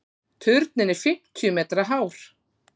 Turninn er fimmtíu metra hár.